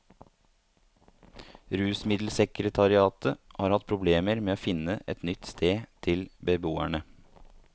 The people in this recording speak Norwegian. Rusmiddelsekretariatet har hatt problemer med å finne et nytt sted til beboerne.